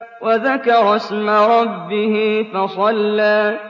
وَذَكَرَ اسْمَ رَبِّهِ فَصَلَّىٰ